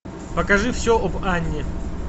покажи все об анне